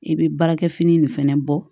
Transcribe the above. I bɛ baarakɛ fini nin fɛnɛ bɔ